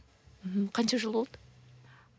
мхм қанша жыл болды